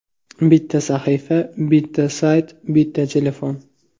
Bitta sahifa, bitta sayt, bitta telefon.